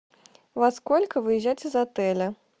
во сколько выезжать из отеля